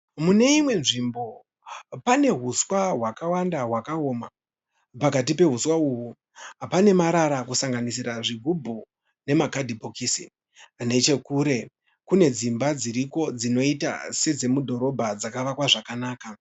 Mune imwe nzvimbo panehuswa hwakawanda hwakaoma. Pakati pehuswa uhu panemarara kusanganisira zvigibhu nemakadhibhokisi. Nechekure kune dzimba dziriko dzinoita sedzemudhorobha dzakavakwa zvakanaka.